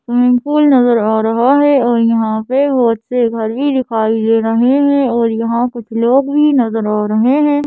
नजर आ रहा है और यहां पे बहुत से घर भी दिखाई दे रहे हैं और यहां कुछ लोग भी नजर आ रहे हैं।